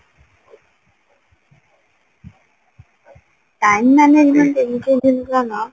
time management ଏଇ ସବୁ ଜିନିଷ ନା